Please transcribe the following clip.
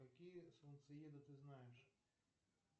какие солнцееды ты знаешь